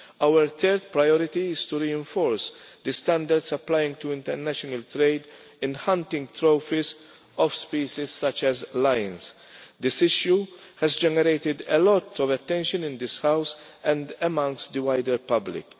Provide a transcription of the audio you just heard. Our third priority is to reinforce the standards applying to international trade in hunting trophies of species such as lions. This issue has generated a lot of attention in this House and amongst the wider public.